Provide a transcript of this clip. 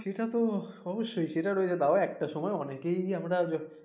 সেটা তো অবশ্যই সেটা তো রয়েছে তাও একটা সময় অনেকেই আমরা যখন